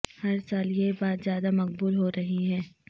ہر سال یہ بات زیادہ مقبول ہو رہی ہے